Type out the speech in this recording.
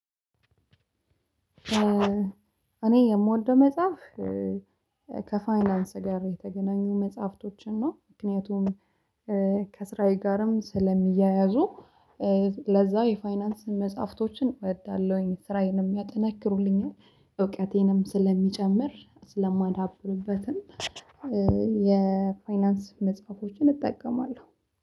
እኔ የምወደው መጽሐፍ ከፋይናንስ ጋር የተገናኙ መጽሐፍቶችን ነው። ምክንያቱም ከስራዬ ጋርም ስለሚያያዙ ለዛ የፋይናንስ መጽሐፍቶችን እወዳለሁኝ ስራዬንም ያጠናክሩልኛል እውቀቴንም ስለሚጨምር ስለማዳብርበትም። የፋይናንስ መጽሐፎችን እጠቀማለሁ